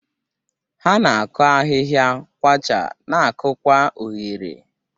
Ha na-akụ ahihia, kwachaa, na-akụkwa oghere.